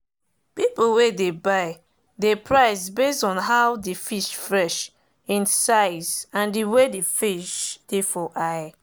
people wey dey buy dey price base on how the fish fresh im size and the way the fish dey for eye.